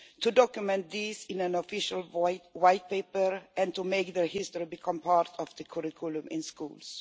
To document this in an official white paper and to make their history become part of the curriculum in schools.